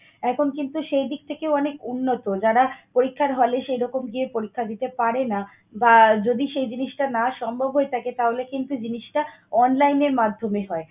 এখন কিন্তু সেই দিক থেকে অনেক উন্নত। যারা পরীক্ষার হলে সেরকম গিয়ে পরীক্ষা দিতে পারেনা বা যদি সে জিনিসটা যদি সম্ভব না হয়ে থাকে তাহলে কিন্তু জিনিসটা online এর মাধ্যমে হয়।